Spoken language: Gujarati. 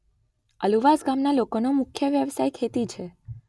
અલુવાસ ગામના લોકોનો મુખ્ય વ્યવસાય ખેતી છે.